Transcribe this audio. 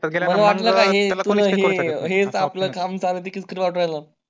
काम किरकिर वाटू राहील